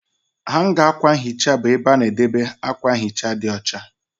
Hanga akwa nhicha bụ ebe a na-edebe akwa nhicha dị ọcha